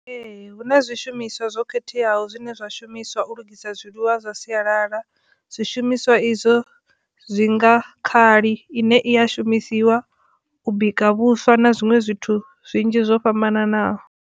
Ee, hu na zwishumiswa zwo khetheaho zwine zwa shumiswa u lugisa zwiḽiwa zwa sialala zwishumiswa izwo zwi nga Khali ine i a shumisiwa u bika Vhuswa na zwiṅwe zwithu zwinzhi zwo fhambananaho.